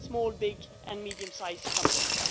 small, big and medium sized companies